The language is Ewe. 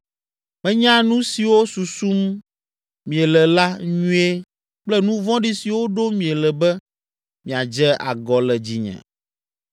“Menya nu siwo susum miele la nyuie kple nu vɔ̃ɖi siwo ɖom miele be miadze agɔ le dzinye.